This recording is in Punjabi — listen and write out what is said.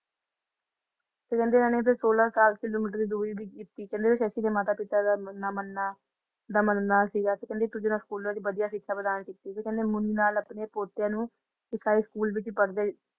ਤੇ ਕਹਿੰਦੇ ਫੇਰ ਇਹਨਾਂ ਨੇ ਸੋਲਾਂ ਸਤਾਰਾਂ ਕਿਲੋਮੀਟਰ ਦੀ ਦੂਰੀ ਵੀ ਕੀਤੀ ਕਹਿੰਦੇ ਸ਼ੱਸ਼ੀ ਦੇ ਮਾਤਾ ਪਿਤਾ ਦਾ ਮਨ ਮੰਨਣਾ ਸੀਗਾ ਕੇ ਕਹਿੰਦੀ ਇਕ ਦੂਜੇ ਨਾਲੋਂ ਸਕੂਲੋ ਵਧੀਆ ਸਿਕਸ਼ਾ ਪ੍ਰਦਾਨ ਕੀਤੀ ਤੇ ਮੁੰਡੇ ਨਾਲ ਆਪਣੇ ਪੋਤੇ ਨੂੰ ਸਰਕਾਰੀ ਸਕੂਲ ਵਿਚ ਪੜ੍ਹਦੇ